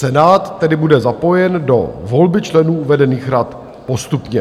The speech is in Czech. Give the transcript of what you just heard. Senát tedy bude zapojen do volby členů uvedených rad postupně.